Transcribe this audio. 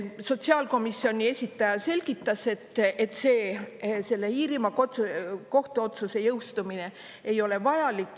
Sotsiaalkomisjoni esindaja selgitas, et see selle Iirimaa kohtu otsuse jõustumine ei ole vajalik.